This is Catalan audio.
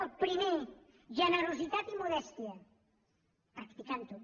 el primer generositat i modèstia practicant ho